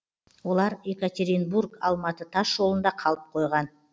олар екатеринбург алматы тас жолында қалып қойған